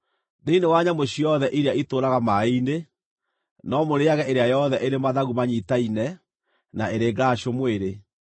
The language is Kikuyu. Thĩinĩ wa nyamũ ciothe iria itũũraga maaĩ-inĩ, no mũrĩĩage ĩrĩa yothe ĩrĩ mathagu manyiitaine na ĩrĩ ngaracũ mwĩrĩ.